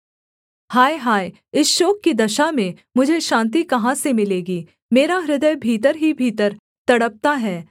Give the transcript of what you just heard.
हाय हाय इस शोक की दशा में मुझे शान्ति कहाँ से मिलेगी मेरा हृदय भीतर ही भीतर तड़पता है